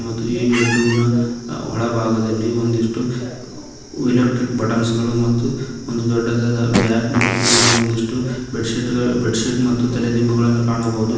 ಈ ಬೆಡ್ರೂಮ್ ನ ಒಳಭಾಗದಲ್ಲಿ ಒಂದಿಷ್ಟು ಎಲೆಕ್ಟ್ರಿಕ್ ಬಟನ್ ಗಳು ಮತ್ತು ಒಂದು ದೊಡ್ಡದಾದ ಬ್ಯಾಗ್ ಮತ್ತು ಇಲ್ಲಿ ಒಂದಿಷ್ಟು ಬೆಡ್ ಶೀಟ್ ಗಳು ಬೆಡ್ ಶೀಟ್ ಮತ್ತು ತಲೆ ದಿಂಬುಗಳನ್ನು ಕಾಣಬಹುದು.